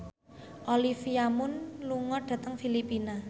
Olivia Munn lunga dhateng Filipina